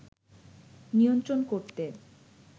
নিয়ন্ত্রণ করতে